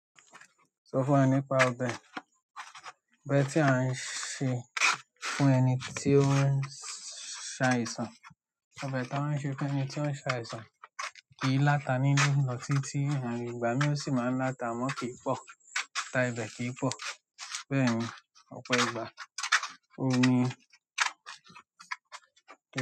Sọ fún wa nípa ọbẹ̀, ọbẹ̀ tí a ń ṣe fún ẹni tí o ń ṣàìsàn? Ọbẹ̀ ton ṣe fún ẹni tí o ń ṣàìsàn. Kì í láta nínú lọ́ tì tí, hán ìgbà mí ò sì máa ń láta mọ́ kì í pọ̀, ta ibẹ̀ kì í pọ̀. Bẹ́ẹ̀ni, ọ̀pọ̀ ìgbà oun ni.